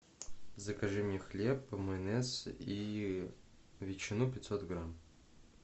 закажи мне хлеб майонез и ветчину пятьсот грамм